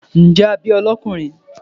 njẹ a bí o lọkunrin?